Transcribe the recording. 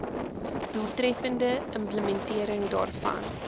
doeltreffende implementering daarvan